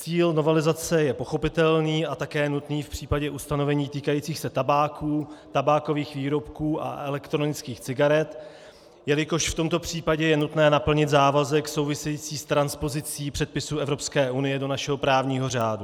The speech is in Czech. Cíl novelizace je pochopitelný a také nutný v případě ustanovení týkajících se tabáku, tabákových výrobků a elektronických cigaret, jelikož v tomto případě je nutné naplnit závazek související s transpozicí předpisů Evropské unie do našeho právního řádu.